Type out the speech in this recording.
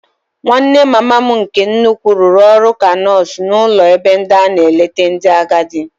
Nwanne mama m nke nnukwu rụrụ ọrụ ka nọọsụ n'ụlọ ebe a na-eleta ndị agadi.